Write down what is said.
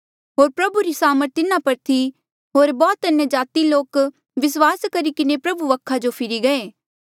होर प्रभु री सामर्थ तिन्हा पर थी होर बौह्त अन्यजाति लोक विस्वास करी किन्हें प्रभु वखा जो फिरी गये